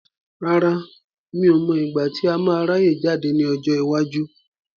Rárá, mi ò mọ igbati a máa ráyè jáde ní ọjọ́ iwájú.